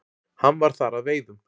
Hann var þar að veiðum.